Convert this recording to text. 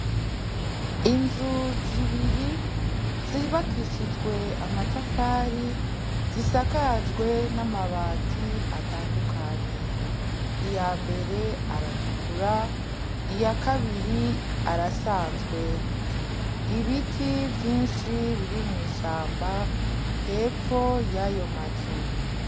Inzu zibiri zubakishijwe amatafari zisakajwe n'amabati atandukanye, iyambere aratukura, iyakabiri arasanzwe. Ibiti vyinshi biri mw'ishamba hepfo yayo mazu.